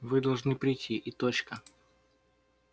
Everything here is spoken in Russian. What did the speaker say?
вы должны прийти и точка